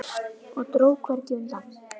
Og dró hvergi undan.